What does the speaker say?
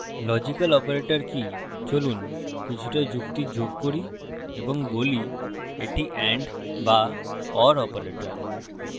logical operator কি চলুন কিছুটা যুক্তি যোগ করি এবং বলি এটি and বা or operator